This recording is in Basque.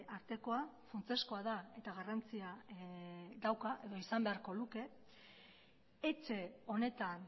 artekoa funtsezkoa da eta garrantzia dauka edo izan beharko luke etxe honetan